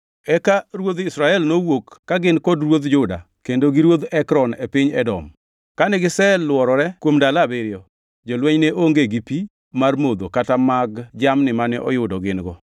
Eka ruodh Israel nowuok ka gin kod ruodh Juda kendo gi ruodh Ekron e piny Edom. Kane giselworore kuom ndalo abiriyo, jolweny ne onge gi pi mar modho kata mag jamni mane oyudo gin-go.